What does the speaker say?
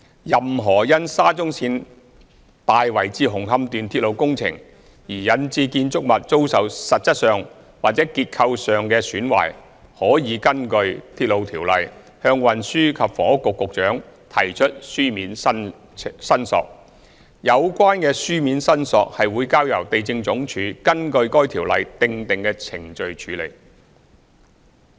任何因沙中線大圍至紅磡段鐵路工程而引致建築物遭受實質上或結構上的損壞，可根據《鐵路條例》向運輸及房屋局局長提出書面申索，有關書面申索會交由地政總署根據該條例訂定的程序處理。